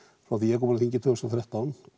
frá því að ég kom á þingið tvö þúsund og þrettán